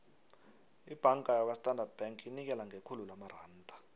ibhanga yakwastandard bank inikela ngekhulu lamaranda